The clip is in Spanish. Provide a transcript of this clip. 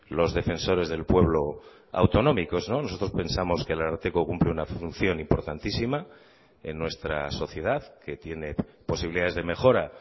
los defensores del pueblo autonómicos nosotros pensamos que el ararteko cumple una función importantísima en nuestra sociedad que tiene posibilidades de mejora